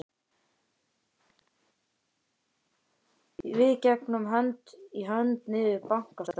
Við gengum hönd í hönd niður Bankastræti.